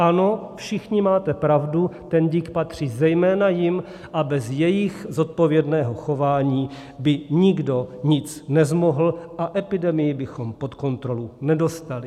Ano, všichni máte pravdu, ten dík patří zejména jim a bez jejich zodpovědného chování by nikdo nic nezmohl a epidemii bychom pod kontrolu nedostali.